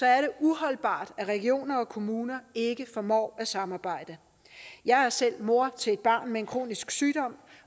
er det uholdbart at regioner og kommuner ikke formår at samarbejde jeg er selv mor til et barn med en kronisk sygdom